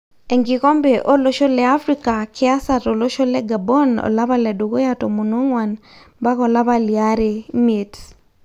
Enkikombe olosho le Afrika kiasa tolosho le Gabon olapa le dukuya 14 ompaka olapa liare 5.